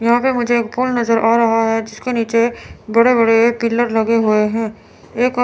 यहां पे मुझे पुल नजर आ रहा है जिसके नीचे बड़े बड़े पिलर लगे हुए हैं एक--